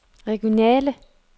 regionale